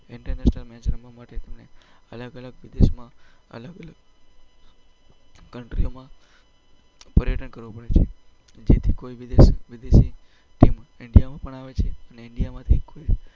international match રમવા માટે અલગ અલગ વિદેશમાં, અલગ અલગ કન્ટ્રીઓમાં પર્યટન કરવું પડે છે, જેથી કોઈ વિદેશી ટીમ ઈન્ડિયામાં પણ આવે છે અને ઈન્ડિયામાંથી કોઈ